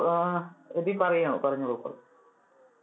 ആഹ് എബിൻ പറയാമോ. പറഞ്ഞോളൂ ഇപ്പൊ.